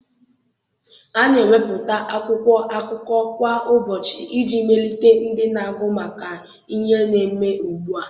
A na-ewepụta akwụkwọ akụkọ kwa ụbọchị iji melite ndị na-agụ maka ihe na-eme ugbu a.